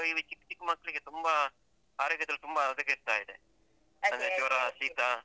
ಈ ಚಿಕ್ ಚಿಕ್ ಮಕ್ಳಿಗೆ ತುಂಬ ಆರೋಗ್ಯದಲ್ಲಿ ತುಂಬ ಹದಗೆಡ್ತಾ ಇದೆ. ಜ್ವರ ಶೀತ.